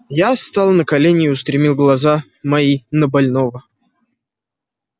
я стал на колени и устремил глаза мои на больного